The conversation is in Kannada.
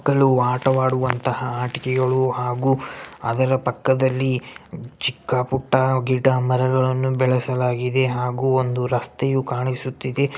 ‌ ಮಕ್ಕಳು ಆಟವಾಡುವಂತಹ ಆಟಿಕೆಗಳು ಹಾಗು ಅದರ ಪಕ್ಕದಲ್ಲಿ ಚಿಕ್ಕಪುಟ್ಟ ಗಿಡ ಮರಗಳನ್ನು ಬೆಳಸಲಾಗಿದೆ ಹಾಗು ಒಂದು ರಸ್ತೆಯು ಕಾಣಿಸುತ್ತಿದೆ .